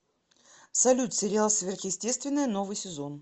салют сериал сверхестетвенное новый сезон